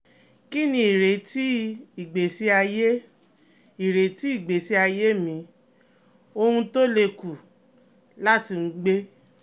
Kini ireti igbesi aye ireti igbesi aye mi Owun to le ku lati um gbe?